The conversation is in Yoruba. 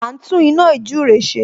A ń tún iná ījúre ṣe